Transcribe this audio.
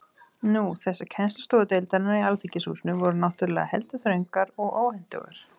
Nú,- þessar kennslustofur deildarinnar í Alþingishúsinu voru náttúrulega heldur þröngar og óhentugar.